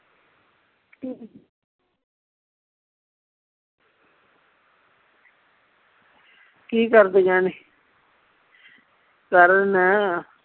ਕੀ ਕਰਦੀਆਂ ਨੇ ਨਾ